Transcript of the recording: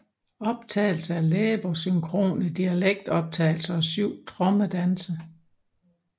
Optagelser af læbesynkrone dialektoptagelser og syv trommedanse